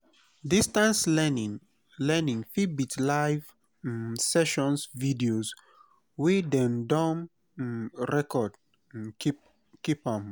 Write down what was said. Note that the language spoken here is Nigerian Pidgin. distance learning learning fit be live um sessions videos wey dem don um record keep um